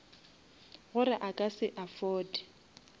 gore a ka se afforde